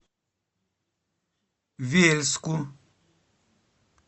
вельску